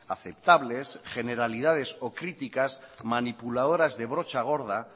aceptables generalidades o críticas manipuladoras de brocha gorda